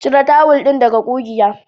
Cire tawul ɗin daga ƙugiya.